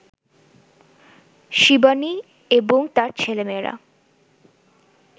শিবানী এবং তাঁর ছেলেমেয়েরা